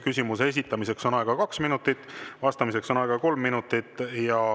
Küsimuse esitamiseks on aega kaks minutit, vastamiseks on aega kolm minutit.